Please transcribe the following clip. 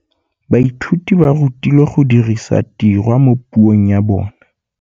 Baithuti ba rutilwe go dirisa tirwa mo puong ya bone.